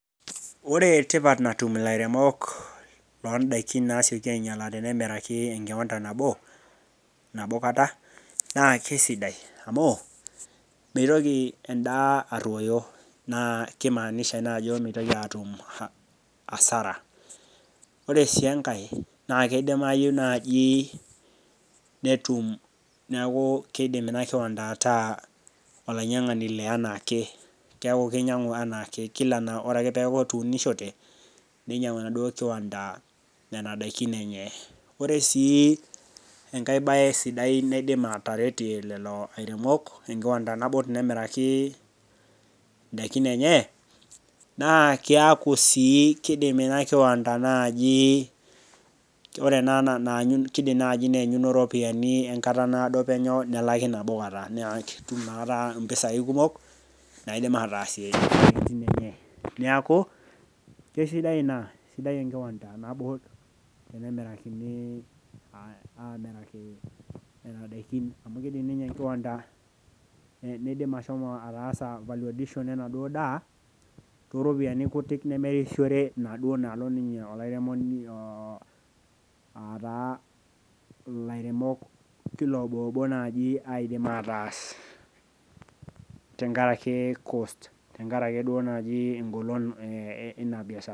ore tipat natum ilairemok loo daikin tenemir ekibanta nabokata naa kisidai amu , mitoki edaa aroyo naa kimaanisha naa ajo mitoki aatum asara , ore sii enkae naa kidimayu naaji netum naa kidim ina enkiwanda ataa olainyang'ani le enaake keku kinyang'ang'u kila enaake ore ake pee eeku etuunishote , ninyang'u enaduo enkiwanda nena daikin enye ore sii engae baye sidai naidim ataretie lelo airemok tenkiwanta nabo tenemiraki idaikin enye naa kiaku sii kidim ina kiwanta kidim naaji nee nyino iropiyiani enkata naado penye nelaki nabokata impisai kumok naidim aatasie isiatin enye neeku kisidai ina sidai enkiwanda nabo , tenemirakini nena daikin amu kidim ninye enkiwanda ashomo ataasa valediction enaduo daa too ropiyiani kutik nemerisiore naaduo naalo olairemoni , aata ilairemok kila obobo taa naaji aidim ataas tengaraki cost tengaraki egolon eina biashara.